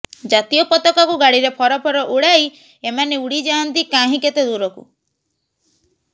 ଜାତୀୟ ପତାକାକୁ ଗାଡ଼ିରେ ଫରଫର ଉଡ଼ାଇ ଏମାନେ ଉଡ଼ିଯାଆନ୍ତି କାହିଁ କେତେ ଦୂରକୁ